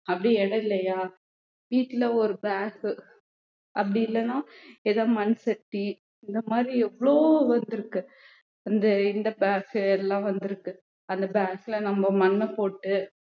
அப்படி இடம் இல்லையா வீட்டுல ஒரு bag அப்படி இல்லைன்னா ஏதாவது மண்சட்டி இந்த மாதிரி எவ்வளவோ வந்திருக்கு இந்த இந்த bag எல்லாம் வந்திருக்கு அந்த bag ல நம்ம மண்ணைப் போட்டு